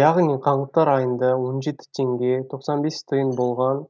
яғни қаңтар айында он жеті теңге тоқсан бес тиын болған